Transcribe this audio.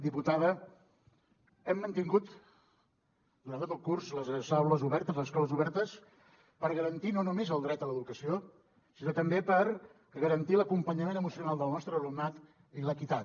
diputada hem mantingut durant tot el curs les aules obertes les escoles obertes per garantir no només el dret a l’educació sinó també per garantir l’acompanyament emocional del nostre alumnat i l’equitat